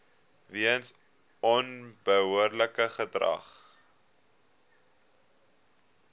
weens onbehoorlike gedrag